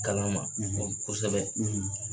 Kalama fo kosɛbɛ.